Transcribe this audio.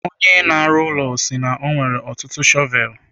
Onye na-arụ ụlọ si na ya nwere ọtụtụ shọvel.